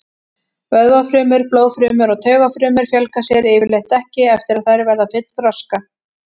Vöðvafrumur, blóðfrumur og taugafrumur fjölga sér yfirleitt ekki eftir að þær verða fullþroska.